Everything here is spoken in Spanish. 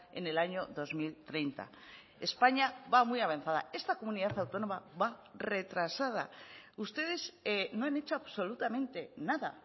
en el año dos mil treinta españa va muy avanzada esta comunidad autónoma va retrasada ustedes no han hecho absolutamente nada